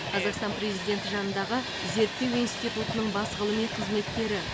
қазақстан президенті жанындағы зерттеу институтының бас ғылыми қызметкері